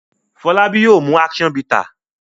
Folabi yóò mú action bitter.